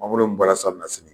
Mangoro min baara salonnasini